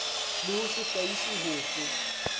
le ho se hlahiswe hofe